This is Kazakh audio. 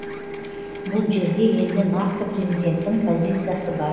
бұл жерде енді нақты президенттің позициясы бар